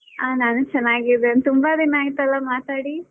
ಆ ನಾನು ಚೆನ್ನಾಗಿದ್ದೇನೆ, ತುಂಬಾ ದಿನ ಆಯ್ತಲ್ಲ ಮಾತಾಡಿ.